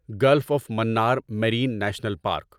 golf of Mannar Marine National park